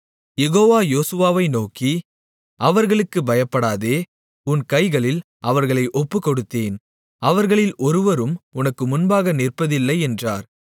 யெகோவா யோசுவாவை நோக்கி அவர்களுக்குப் பயப்படாதே உன் கைகளில் அவர்களை ஒப்புக்கொடுத்தேன் அவர்களில் ஒருவரும் உனக்கு முன்பாக நிற்பதில்லை என்றார்